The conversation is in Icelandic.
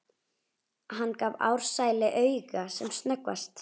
Hann gaf Ársæli auga sem snöggvast.